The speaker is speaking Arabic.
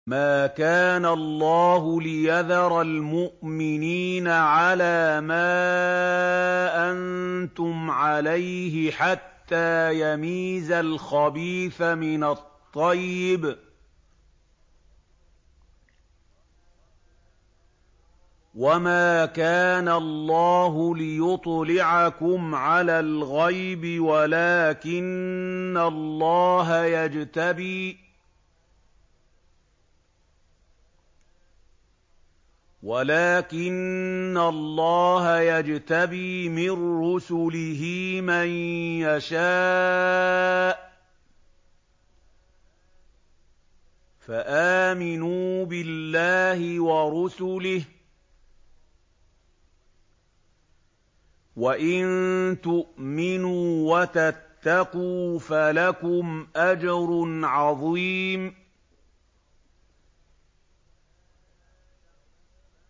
مَّا كَانَ اللَّهُ لِيَذَرَ الْمُؤْمِنِينَ عَلَىٰ مَا أَنتُمْ عَلَيْهِ حَتَّىٰ يَمِيزَ الْخَبِيثَ مِنَ الطَّيِّبِ ۗ وَمَا كَانَ اللَّهُ لِيُطْلِعَكُمْ عَلَى الْغَيْبِ وَلَٰكِنَّ اللَّهَ يَجْتَبِي مِن رُّسُلِهِ مَن يَشَاءُ ۖ فَآمِنُوا بِاللَّهِ وَرُسُلِهِ ۚ وَإِن تُؤْمِنُوا وَتَتَّقُوا فَلَكُمْ أَجْرٌ عَظِيمٌ